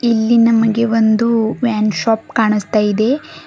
ಇಲ್ಲಿ ನಮಗೆ ಒಂದು ವೈನ್ ಶಾಪ್ ಕಾಣಿಸ್ತಾ ಇದೆ.